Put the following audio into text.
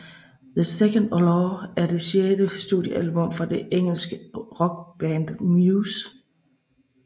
The 2nd Law er det sjette studiealbum fra det engelske rockband Muse